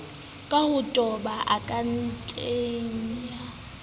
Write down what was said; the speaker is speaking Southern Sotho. ka ho toba akhaonteng ya